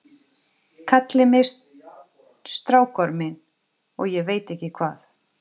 Kalli mig strákorminn og ég veit ekki hvað.